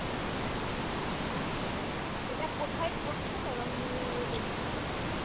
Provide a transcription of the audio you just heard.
আচ্ছা. এটা কোথায় পড়ছে তরঙ্গিনী restaurant টা?